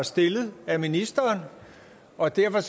stillet af ministeren og derfor